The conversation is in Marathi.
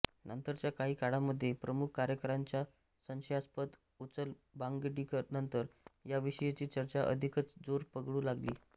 नंतरच्या काही काळामध्ये प्रमुख कार्यकाऱ्यांच्या संशयास्पद ऊचलबांगडीनंतर याविषयीची चर्चा अधिकच जोर पकडू लागली